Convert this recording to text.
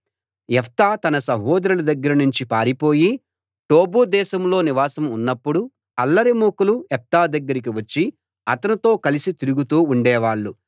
యెఫ్తా తన సహోదరుల దగ్గర నుంచి పారిపోయి టోబు దేశంలో నివాసం ఉన్నప్పుడు అల్లరిమూకలు యెఫ్తా దగ్గరికి వచ్చి అతనితో కలిసి తిరుగుతూ ఉండేవాళ్ళు